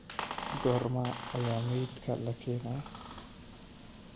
Goorma ayaa meydka la keenaa?